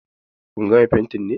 Kun gama fentin ne?